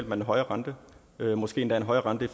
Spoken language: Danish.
man en højere rente måske endda en højere rente i